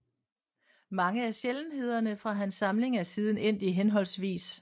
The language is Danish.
Mange af sjældenhederne fra hans samling er siden endt i hhv